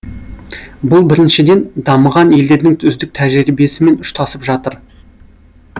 бұл біріншіден дамыған елдердің үздік тәжірибесімен ұштасып жатыр